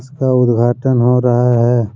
इसका उद्घाटन हो रहा है।